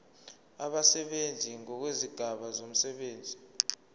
abasebenzi ngokwezigaba zomsebenzi